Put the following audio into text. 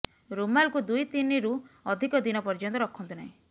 ରୁମାଲକୁ ଦୁଇ ତିନିରୁ ଅଧିକ ଦିନ ପର୍ଯ୍ୟନ୍ତ ରଖନ୍ତୁ ନାହିଁ